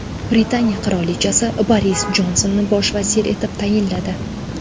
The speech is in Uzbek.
Britaniya qirolichasi Boris Jonsonni bosh vazir etib tayinladi.